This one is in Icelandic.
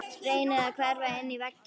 Reynir að hverfa inn í vegginn.